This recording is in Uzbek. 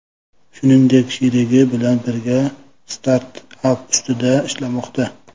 Shuningdek, sherigi bilan birga startap ustida ishlamoqda.